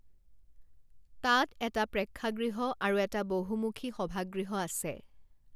তাত এটা প্ৰেক্ষাগৃহ আৰু এটা বহুমুখী সভাগৃহ আছে।